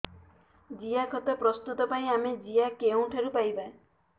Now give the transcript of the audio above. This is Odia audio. ଜିଆଖତ ପ୍ରସ୍ତୁତ ପାଇଁ ଆମେ ଜିଆ କେଉଁଠାରୁ ପାଈବା